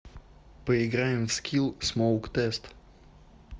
поиграем в скилл смоук тест